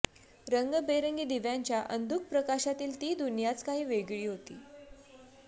रंगीबेरंगी दिव्यांच्या अंधूक प्रकाशातली ती दुनियाच काही वेगळी होती